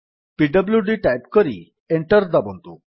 PWD type କରି enter ଦାବନ୍ତୁ